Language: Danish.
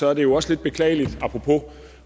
er det jo også lidt beklageligt apropos